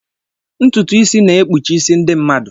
Ntutu isi na-ekpuchi isi ndị mmadụ.